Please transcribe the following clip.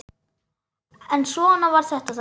En svona var þetta þá.